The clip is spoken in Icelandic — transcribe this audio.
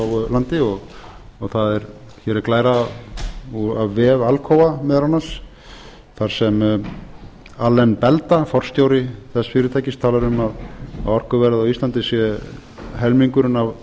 landi og það hér er glæra af vef alcoa meðal annars þar sem alain belda forstjóri þess fyrirtækis talar um að orkuverð á íslandi sé helmingurinn